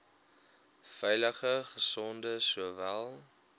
veilige gesonde sowel